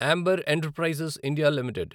amber Enterprises India limited